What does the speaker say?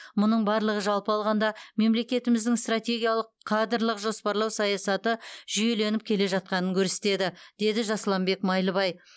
мұның барлығы жалпы алғанда мемлекетіміздің стратегиялық кадрлық жоспарлау саясаты жүйеленіп келе жатқанын көрсетеді деді жасұланбек майлыбай